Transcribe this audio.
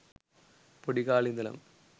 පොඩි කාලෙ ඉඳලම